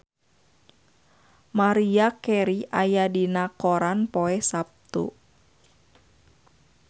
Maria Carey aya dina koran poe Saptu